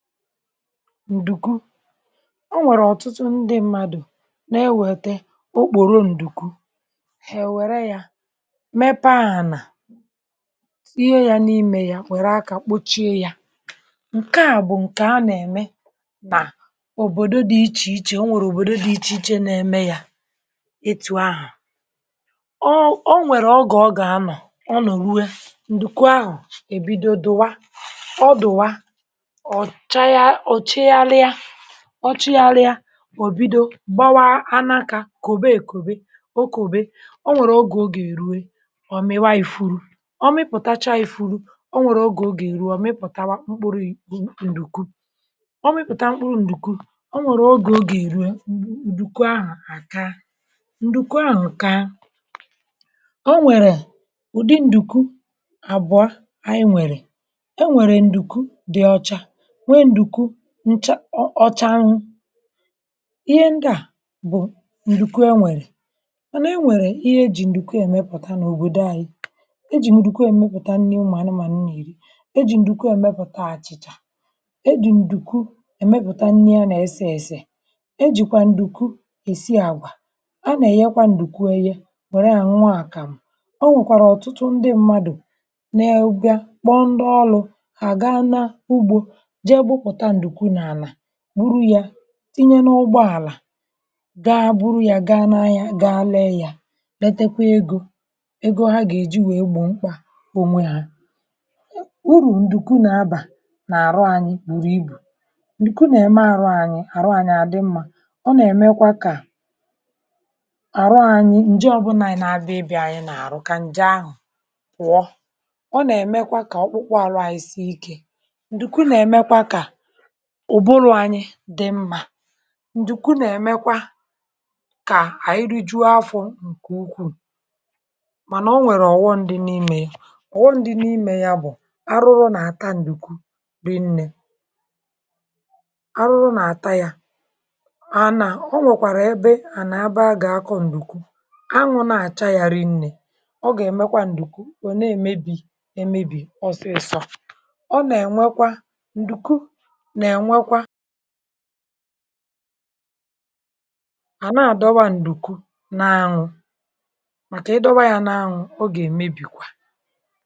Ǹdùkwu, ọ nwèrè ọ̀tụtụ ndị mmadụ̀ na-ewète okpòrò ǹdùku, èwèrè ya, mèpe ahụ̀ nà ihe ya n’ime ya, wèrè aka kpochie ya. ǹké à bụ̀ ǹké a nà-ème nà òbòdo dị iche iche. Ọ nwèrè òbòdo dị iche iche nà-ème ya etù ahụ̀. Ọ nwèrè, um ọ gà-anọ̀ ọnụ̀, rue ǹdùku ahụ̀. Èbido dụ̀wa, ọ dụ̀wa ọchị ya, alị ya, ọchị ya, alị ya. O bido gbawa a n’akà, kà òbe, èkòbe o, kà òbe. Ọ nwèrè oge ọ gà-èruwe; ọ̀ mịwa ifuru, ọ mịpụ̀tacha ifuru. Ọ nwèrè oge ọ gà-èruwe; ọ mịpụ̀tawa mkpụrụ ihu ǹdùku, ọ mịpụ̀ta mkpụrụ ǹdùku. Ọ nwèrè oge ọ gà-èruwe, ǹdùku ahụ̀ kà, ǹdùku ahụ̀ kà. Ọ nwèrè ụ̀dị ǹdùku àbụọ anyị nwèrè. E nwèrè ǹdùku dị ọcha, ncha ọcha; n’ihi ihe ndị à bụ̀, ǹdùku. E nwèrè ihe ejì ǹdùku èmepụ̀ta n’òbòdo ànyị̇. Ejì ǹdùku èmepụ̀ta nri mà anụ̀mànụ̀ iri; ejì ǹdùku èmepụ̀ta àchị̀chà; ejì ǹdùku èmepụ̀ta nri a nà-ese ėsė. Ejìkwà ǹdùku èsi àgwà; a nà-èyekwa ǹdùku ẹyẹ. Nwèrè ànwa àkàm, um o nwèkwàrà ọ̀tụtụ ndị mmadụ na-ègbìa kpọ ndị ọrụ. Ṅụrụ ya, inye n’ọgbọ àlà, gà-buru ya, gà n’anya, gà lee ya, letekwa ego ego, ha gà-èji wèe gbọmkwa onwe ha urù. Ǹdùkwu nà-abà n’àrụ̀ anyị gbùrù ibù. Ǹdùkwu nà-ème àrụ̀ anyị, àrụ̀ anyị àdị mma. Ọ nà-èmekwa kà àrụ̀ anyị ǹje ọbụnà ị nà-abịa, ịbịa anyị n’àrụ̀, kà ǹje ahụ̀ pụọ. Ọ nà-èmekwa kà ọkpụkpụ àrụ̀ anyị sie ike, ùbùrù̇ anyị dị mma. Ǹdùkwu nà-èmekwa kà à rìjụ afọ̇, ǹké ukwuù. um Mànà, ọ nwèrè ọ̀gwọ. Ǹdị n’ime, ọ̀gwọ ǹdị n’ime yà, bụ̀ arụrụ nà-àta ǹdùkwu rinnē. Arụrụ nà-àta yà ànà. Ọ nwèkwàrà ebe ànà abà gà-akọ ǹdùkwu. Anwụ̇ nà-àcha ya, rinnē, ọ gà-èmekwa ǹdùku. Ọ̀ na-èmebì emebì, ọsịsọ̇, ọ nà-ènwekwa. A nà-adọwa ǹdùku n’anwụ̇; màkà idọwa ya n’anwụ̇, ọ gà-èmebìkwa